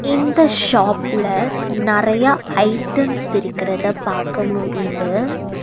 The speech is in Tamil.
இந்த ஷாப்ல நறைய ஐட்டம்ஸ் இருக்கிறத பார்க்க முடியுது.